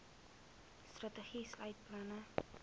strategie sluit planne